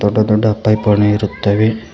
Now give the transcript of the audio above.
ದೊಡ್ಡ ದೊಡ್ಡ ಪೈಪ್ ಗಣೆ ಇರುತ್ತವೆ.